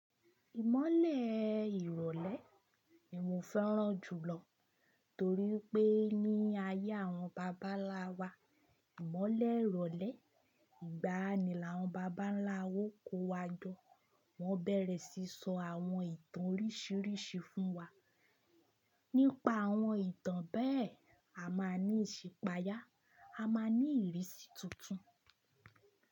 Ìmọ̀lẹ̀ ìrọ̀lẹ́ ni mo fẹ́ràn jùlọ torí pé ní ayé àwọn bàbá ńlá wa, ìmọ̀lẹ̀ ìrọ̀lẹ́ ìgbàanì làwọn bàbá ńlá wa kó wa jọ. Wọ́n bẹ̀rẹ̀ sí sọ àwọn ìtàn oríṣiríṣi fún wa. Nípa àwọn ìtàn bẹ́ẹ̀, a máa ní ìṣípàyà, a máa ní ìrísí tuntun.